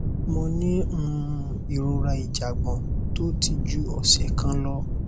mo ní um ìrora ìjàgbọn tó ti ju ọsẹ kan lọ